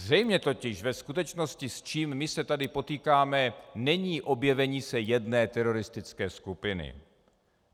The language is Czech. Zřejmě totiž ve skutečnosti s čím my se tady potýkáme, není objevení se jedné teroristické skupiny.